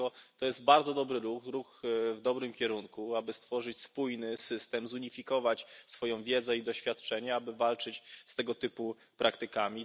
Dlatego to jest bardzo dobry ruch, ruch w dobrym kierunku, aby stworzyć spójny system, zunifikować swoją wiedzę i doświadczenie, aby walczyć z tego typu praktykami.